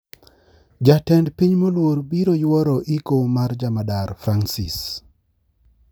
Jatend piny moluor biro youro iko mar jamadar Fransis